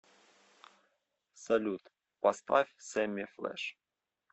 салют поставь сэмми флэш